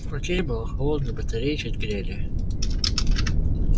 в квартире было холодно батареи чуть грели